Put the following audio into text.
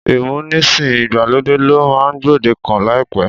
Ìmúnisìn ìgbàlódé ló máa gbòdekàn láìpẹ́.